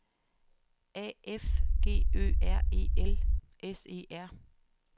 A F G Ø R E L S E R